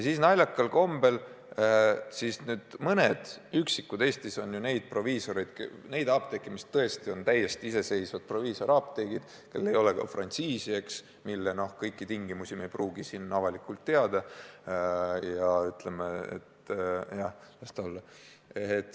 Samas on naljakal kombel Eestis üksikud apteegid, mis tõesti on täiesti iseseisevad proviisoriapteegid, mille omanikel ei ole ka frantsiisi ja mille puhul me kõiki tingimusi ei pruugi avalikult teada, ja me ütleme, et jah, las nad olla.